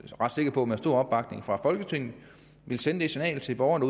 er ret sikker på med stor opbakning fra folketinget vil sende det signal til borgerne